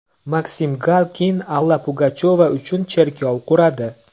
Maksim Galkin Alla Pugachyova uchun cherkov quradi.